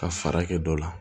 Ka fara kɛ dɔ la